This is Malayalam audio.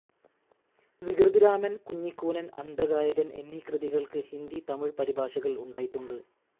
വികൃതിരാമൻ, കുഞ്ഞിക്കൂനൻ, അന്ധഗായകൻ എന്നീ കൃതികൾക്ക് ഹിന്ദി, തമിഴ് പരിഭാഷകൾ ഉണ്ടായിട്ടുണ്ട്.